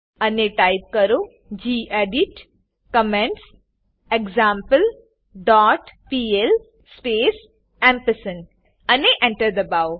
અને ટાઈપ કરો gedit comments example dot PL space અને Enter દબાઓ